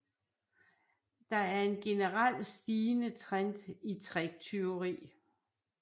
Der er en generel stigende trend i tricktyveri